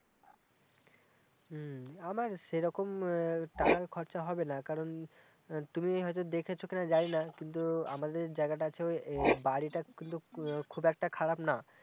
হম আমার সেইরকম টাকা খরচ হবেনা কারণ তুমি হয়েতো দেখেছো কি না জানিনা কিন্তু আমাদের জায়গাটা আছে ওই বাড়িটা কিন্তু খুব একটা খারাপ না-